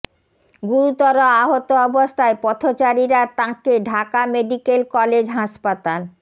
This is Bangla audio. গুরুতর আহত অবস্থায় পথচারীরা তাঁকে ঢাকা মেডিকেল কলেজ হাসপাতাল